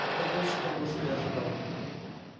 это больше того что я ожидал